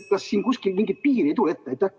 Kas siin kuskil mingit piiri ette ei tule?